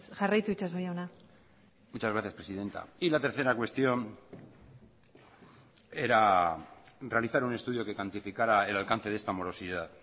jarraitu itxaso jauna muchas gracias presidenta y la tercera cuestión era realizar un estudio que cuantificara el alcance de esta morosidad